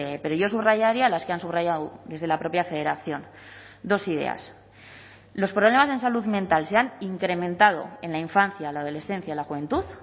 pero yo subrayaría las que han subrayado desde la propia federación dos ideas los problemas en salud mental se han incrementado en la infancia la adolescencia la juventud